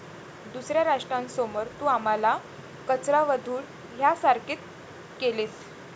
दुसऱ्या राष्ट्रांसमोर तू आम्हाला कचरा व धूळ ह्यासारखे केलेस.